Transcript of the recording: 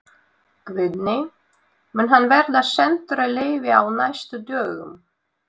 Guðný: Mun hann verða sendur í leyfi á næstu dögum?